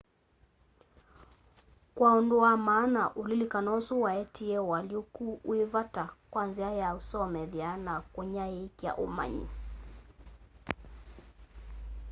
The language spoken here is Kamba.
kwa undu wa maana ulilikano usu waetie ũalyũku wi vata kwa nzia ya usomethya na kunyaiikya ũmanyi